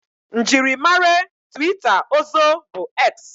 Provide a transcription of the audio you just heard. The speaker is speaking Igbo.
Mjiri mare twita ozo bu X